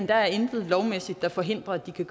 der intet lovmæssigt der forhindrer at de kan